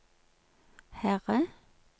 Herre